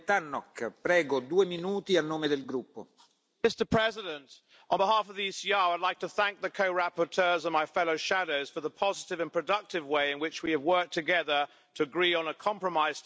Mr President, on behalf of the ECR I would like to thank the co rapporteurs and my fellow shadows for the positive and productive way in which we have worked together to agree on a compromise text on this very wide ranging and challenging file.